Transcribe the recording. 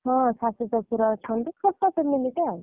ହଁ ଶାଶୁ ଶଶୁର ଅଛନ୍ତି ଛୋଟ family ତ।